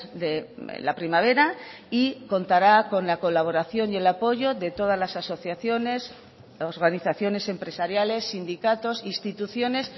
de la primavera y contará con la colaboración y el apoyo de todas las asociaciones organizaciones empresariales sindicatos instituciones